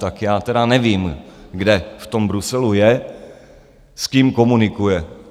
Tak já tedy nevím, kde v tom Bruselu je, s kým komunikuje?